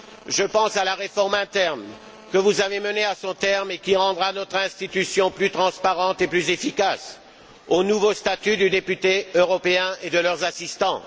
Je pense à la réforme interne, que vous avez menée à son terme et qui rendra notre institution plus transparente et plus efficace, et au nouveau statut des députés européens et de leurs assistants.